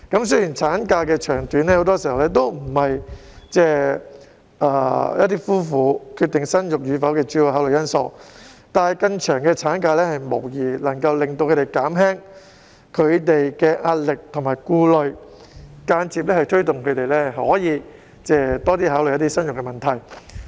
雖然產假的長短，很多時候並不是夫婦決定生育與否的主要考慮因素，但更長的產假無疑能夠令他們減輕壓力和顧慮，間接推動他們多考慮生育問題。